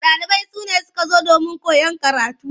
Ɗalibai sune suka zo domin koyan karatu.